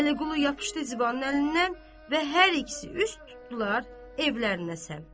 Vəliqulu yapışdı Zibənin əlindən və hər ikisi üz tutdular evlərinə səmt.